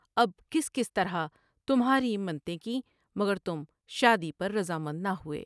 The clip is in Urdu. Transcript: اب کس کس طرح تمھاری منتیں کیں مگر تم شادی پر رضامند نہ ہوئے ۔